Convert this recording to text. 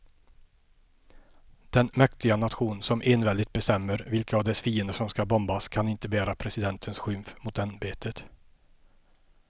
Den mäktiga nation som enväldigt bestämmer vilka av dess fiender som ska bombas kan inte bära presidentens skymf mot ämbetet.